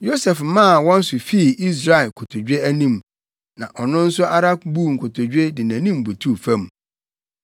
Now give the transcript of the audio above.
Yosef maa wɔn so fii Israel kotodwe anim, na ɔno ara nso buu nkotodwe de nʼanim butuw fam.